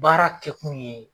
Baara kɛ kun ye